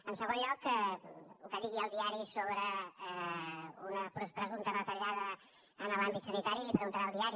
en segon lloc el que digui el diari sobre una presumpta retallada en l’àmbit sanitari li ho preguntarà al diari